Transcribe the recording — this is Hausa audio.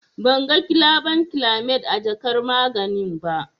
Ban ga gilabankilamid a jakar maganin ba.